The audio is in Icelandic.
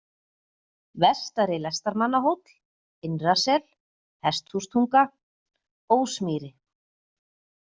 Vestari-Lestamannahóll, Innrasel, Hesthústunga, Ósmýri